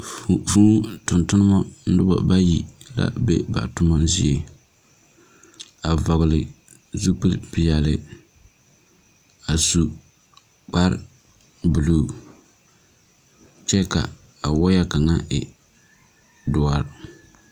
Vuu tungtumba nuba bayi la be ba tuma zeɛ a vɔgle zupili peɛle a su kpare blue kye a waaya kanga e dɔri.